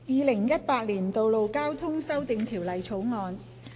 《2018年道路交通條例草案》。